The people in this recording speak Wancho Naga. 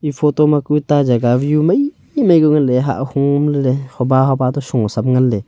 ee photo ma ku ee ta jaga view maimai ku vai hah homley hoba hoba to soh sam nganley.